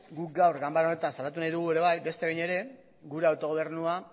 guk gaur ganbara honetan salatu nahi dugu beste behin ere gure autogobernua